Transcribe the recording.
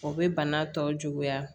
O bɛ bana tɔw juguya